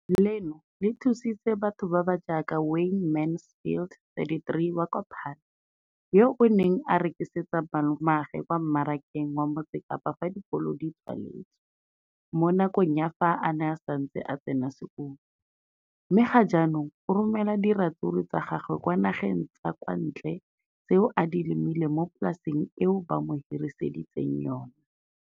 Leno le thusitse batho ba ba jaaka Wayne Mansfield, 33, wa kwa Paarl, yo a neng a rekisetsa malomagwe kwa Marakeng wa Motsekapa fa dikolo di tswaletse, mo nakong ya fa a ne a santse a tsena sekolo, mme ga jaanong o romela diratsuru tsa gagwe kwa dinageng tsa kwa ntle tseo a di lemileng mo polaseng eo ba mo hiriseditseng yona.